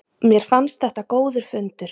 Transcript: Mér fannst þetta góður fundur